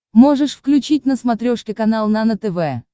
можешь включить на смотрешке канал нано тв